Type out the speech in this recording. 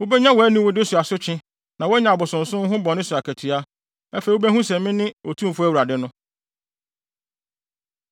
Wubenya wʼaniwude so asotwe na woanya abosonsom ho bɔne so akatua. Afei wubehu sɛ mene Otumfo Awurade no.”